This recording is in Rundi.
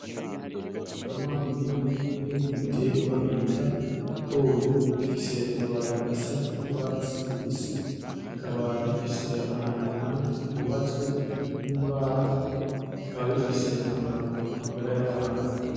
Umurima munini urimwo ibiterwa bita ibigori bifise amababi asa nk'urwatsi rubisi bikaba bifise ahantu iruhande hubatswe n'imbaho. Bikaba bifise akamaro k'umagara y'abantu